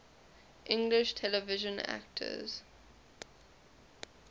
english television actors